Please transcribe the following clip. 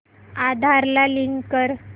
आधार ला लिंक कर